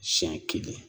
Siɲɛ kelen